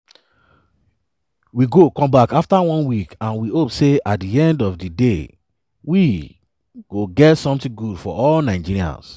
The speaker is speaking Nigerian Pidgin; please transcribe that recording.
“we go come back afta one week and we hope say at di end of di day we go get something good for all nigerians.